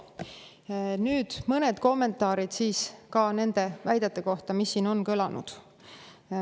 Nüüd mõned kommentaarid nende väidete kohta, mis siin on kõlanud.